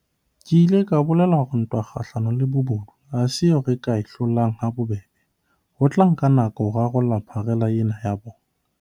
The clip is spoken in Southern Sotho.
Ke ile ka bolela hore ntwa kgahlano le bobodu ha se eo re ka e hlolang ha bobebe, ho tla nka nako ho rarolla pharela ena ya bona.